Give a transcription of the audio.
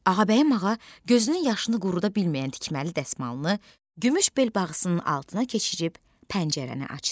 Ağabəyim ağa gözünün yaşını quruda bilməyən tikməli dəsmalını gümüş bel bağısının altına keçirib pəncərəni açdı.